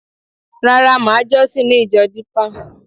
Rárá, màá jọ́sìn ní ìjọ Dípà